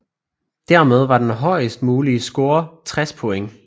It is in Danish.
Dermed var den højest mulige score 60 point